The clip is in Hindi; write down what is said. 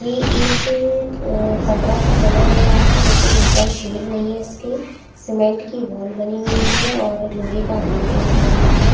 ये एक क कमरा सा बना हुआ हैं लेकिन ऊपर शेड नहीं हैं इसके सीमेंट की वॉल बनी हुई हैं और लोहे का एक गेट लगा हुआ हैं ।